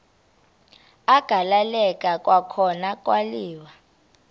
agaleleka kwakhona kwaliwa